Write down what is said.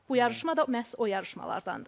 Bu yarışma da məhz o yarışmalardandır.